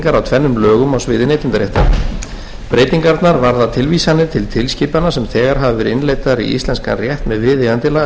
tvennum lögum á sviði neytendaréttar breytingarnar varða tilvísanir til tilskipana sem þegar hafa verið innleiddar í íslenskan rétt með viðeigandi lagasetningu þær voru teknar upp í